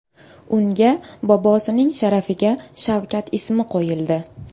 Unga bobosining sharafiga Shavkat ismi qo‘yildi .